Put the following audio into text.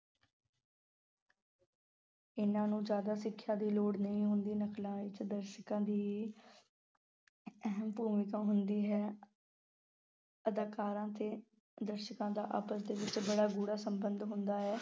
ਇਹਨਾਂ ਨੂੰ ਜ਼ਿਆਦਾ ਸਿੱਖਿਆ ਦੀ ਲੋੜ ਨਹੀਂ ਹੁੰਦੀ, ਨਕਲਾਂ ਵਿੱਚ ਦਰਸ਼ਕਾਂ ਦੀ ਅਹਿਮ ਭੂਮਿਕਾ ਹੁੰਦੀ ਹੈ ਅਦਾਕਾਰਾਂ ਤੇ ਦਰਸ਼ਕਾਂ ਦਾ ਆਪਸ ਦੇ ਵਿੱਚ ਬੜਾ ਗੂੜਾ ਸੰਬੰਧ ਹੁੰਦਾ ਹੈ।